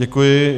Děkuji.